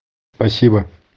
спасибо